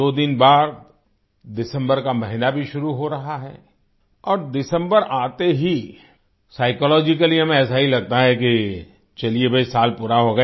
दो दिन बाद दिसम्बर का महीना भी शुरू हो रहा है और दिसम्बर आते ही साइकोलॉजिकली हमें ऐसा ही लगता है कि चलिए भई साल पूरा हो गया